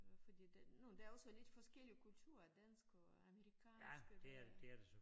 Øh fordi det nu der er også lidt forskellig kultur dansk og amerikansk og det